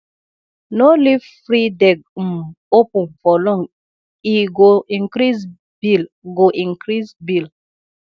no leave frideg um open for long e go increase bill go increase bill